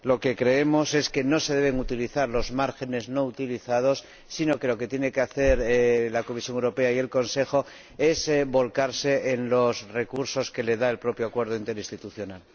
Lo que creemos es que no se deben utilizar los márgenes no utilizados, sino que lo que tienen que hacer la Comisión Europea y el Consejo es volcarse en los recursos que les da el propio Acuerdo interinstitucional.